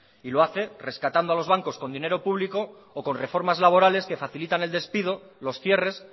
y lo hace rescatando a los bancos con dinero público o con reformas laborales que facilitan el despido los cierres